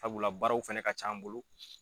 Sabula baaraw fɛnɛ ka can an bolo.